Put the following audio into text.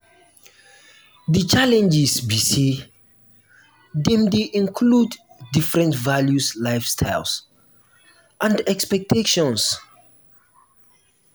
di challenges be say dem dey include diferent values lifestyles and expectations.